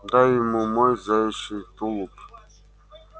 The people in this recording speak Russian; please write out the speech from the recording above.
дай ему мой заячий тулуп